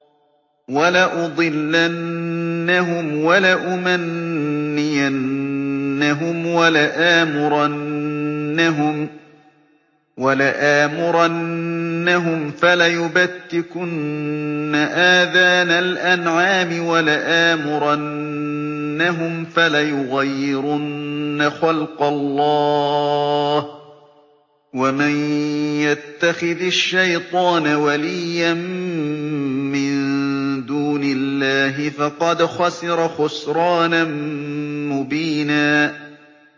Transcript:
وَلَأُضِلَّنَّهُمْ وَلَأُمَنِّيَنَّهُمْ وَلَآمُرَنَّهُمْ فَلَيُبَتِّكُنَّ آذَانَ الْأَنْعَامِ وَلَآمُرَنَّهُمْ فَلَيُغَيِّرُنَّ خَلْقَ اللَّهِ ۚ وَمَن يَتَّخِذِ الشَّيْطَانَ وَلِيًّا مِّن دُونِ اللَّهِ فَقَدْ خَسِرَ خُسْرَانًا مُّبِينًا